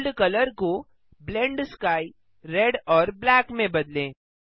world colour को blend sky red और black में बदलें